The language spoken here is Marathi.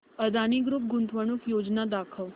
अदानी ग्रुप गुंतवणूक योजना दाखव